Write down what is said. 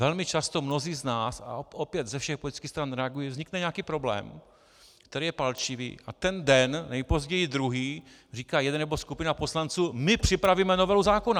Velmi často mnozí z nás, a opět ze všech politických stran, reagují - vznikne nějaký problém, který je palčivý, a ten den, nejpozději druhý, říká jeden nebo skupina poslanců "my připravíme novelu zákona".